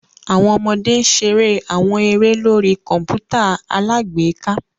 Awọn ọmọde n ṣere awọn ere lori kọǹpútà alágbèéká